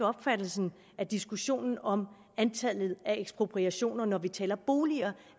opfattelse i diskussionen om antallet af ekspropriationer når vi taler boliger